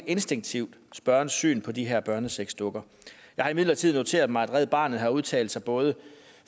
instinktivt spørgerens syn på de her børnesexdukker jeg har imidlertid noteret mig at red barnet har udtalt sig både